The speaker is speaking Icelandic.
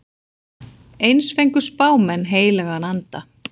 Eins fengu spámenn heilagan anda.